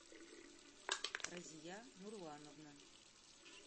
разия нурлановна